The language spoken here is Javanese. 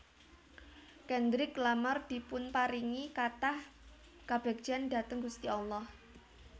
Kendrick Lamar dipunparingi kathah kabegjan dhateng gusti Allah